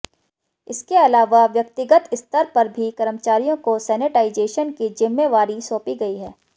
इसके अलावा व्यक्तिगत स्तर पर भी कर्मचारियों को सेनेटाइजेशन की जिम्मेवारी सौंपी गई है